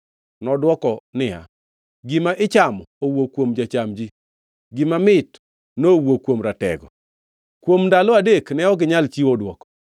Nodwoko niya, “Gima ichamo nowuok kuom jocham ji; gima mit nowuok kuom ratego.” Kuom ndalo adek ne ok ginyal chiwo dwoko.